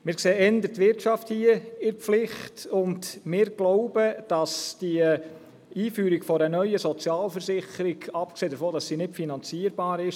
Wir sehen hier eher die Wirtschaft in der Pflicht, und wir glauben, dass die Einführung einer neuen Sozialversicherung sogar kontraproduktiv wirken kann, abgesehen davon, dass sie nicht finanzierbar ist.